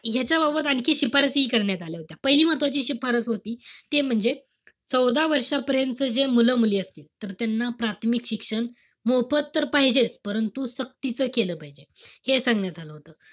ह्याच्याबाबत आणखी शिफारसी करण्यात आल्या होत्या. पहिली महत्वाची शिफारस होती. ते म्हणजे चौदा वर्षापर्यंतचे जे मुलंमुली असतील, तर त्यांना प्राथमिक शिक्षण, मोफत तर पाहिजेच. परंतु सक्तीचं केलं पाहिजे. हे सांगण्यात आलं होतं.